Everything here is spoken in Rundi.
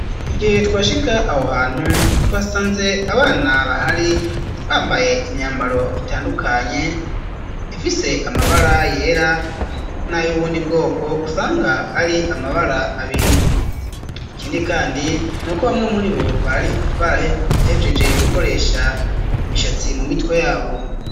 Igihe twashika aho hantu twasanze abana bahari bambaye imyambaro itandukanye ifise amabara yera n'ayo ubundi bwoko usanga ari amabara abiri, ikindi kandi nuko bamwe muribo bari barahejeje gukoresha imishatsi mu mitwe yabo.